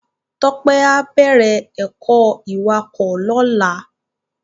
Tope á bèrè èkò iwákò lòlá